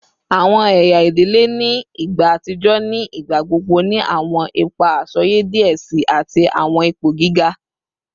Awọn ẹya idile ni igba atijọ ni igbagbogbo ni awọn ipa asọye diẹ sii ati awọn ipo giga